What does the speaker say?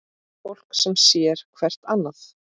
Fólk sem sér hvert annað.